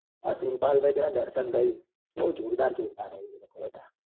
આ સુરપાલ ભાઈ પેલા દર્શન ભાઈ બઉ જોરદાર જોરદાર છે એ લોકો બધા